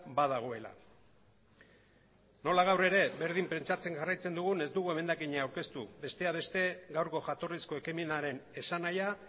badagoela nola gaur ere berdin pentsatzen jarraitzen dugun ez dugu emendakina aurkeztu besteak beste gaurko jatorrizko ekimenaren esanahia